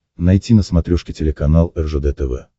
найти на смотрешке телеканал ржд тв